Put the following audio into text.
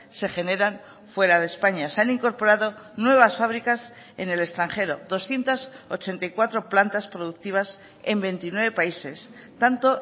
se generan fuera de españa se han incorporado nuevas fábricas en el extranjero doscientos ochenta y cuatro plantas productivas en veintinueve países tanto